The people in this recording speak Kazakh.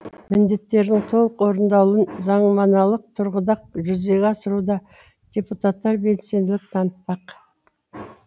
міндеттердің толық орындалуын заңнамалық тұрғыда жүзеге асыруда депутаттар белсенділік танытпақ